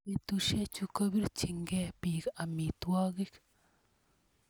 betusiechu kobiirchinikee biik amitwokik